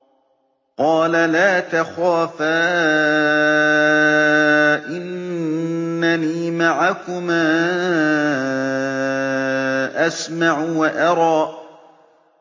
قَالَ لَا تَخَافَا ۖ إِنَّنِي مَعَكُمَا أَسْمَعُ وَأَرَىٰ